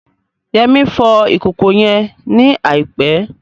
Yemisi fọ ìkòkò yẹn ní àìpẹ́